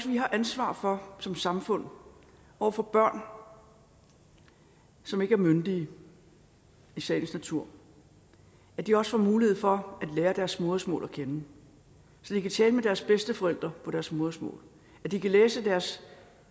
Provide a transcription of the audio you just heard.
vi har ansvar for som samfund over for børn som ikke er myndige i sagens natur at de også får mulighed for at lære deres modersmål at kende så de kan tale med deres bedsteforældre på deres modersmål så de kan læse deres